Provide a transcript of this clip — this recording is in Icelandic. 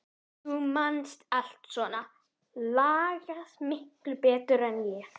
Þú manst allt svona lagað miklu betur en ég.